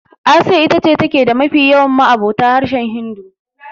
Asiya ita ce take da mafi yawan ma'abota harshen Hindu.